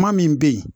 Kuma min bɛ yen